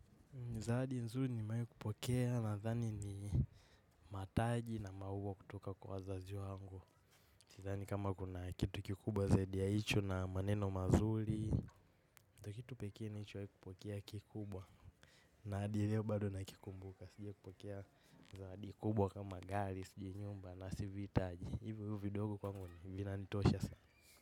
Ni zawadi nzuri nimewai kupokea na thani ni mataji na mauwa kutoka kwa wazazi wangu. Sithank kama kuna kitu kikubwa zaidi ya hicho na maneno mazuli. Ndio kitu pekee nilichowai kupokea kikubwa. Na adi leo bado na kikumbuka. Sijia kupokea zawadi kubwa kama gali, sijui nyumba na siviitaji. Hivyo hivyo vidogo kwangu vina nitosha.